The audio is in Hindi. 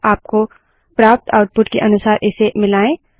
आपको प्राप्त आउटपुट के अनुसार इसे मिलायें